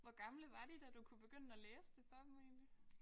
Hvor gamle var de da du kunne begynde at læse det for dem egentlig?